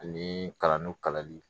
Ani kalando kalali